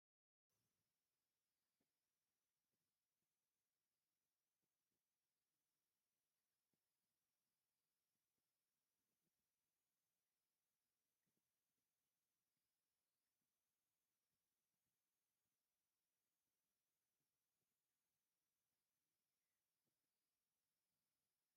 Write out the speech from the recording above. ኣብዚ ብሰማያዊ ጨርቂ ዝተዘርግሑ ብዙሓት ባህላዊ ስርዓታት እምንን ጭቃን ተገሊጾም ኣለዉ። እዚኣቶም ድማ ዝተቐርጹ ኣካላት ደቂ ሰባት፡ ንኣሽቱ ጠረጴዛታት ጭቃ፡ ታሪኻዊ ምልክታትን ዝተፈላለየ ቅርጺ ዘለዎም ኣርማታትን ይርከብዎም። እቲ ከባቢ ምርኢት ባህላዊ ኣቑሑት ምዃኑ እውን ዘርኢ እዩ።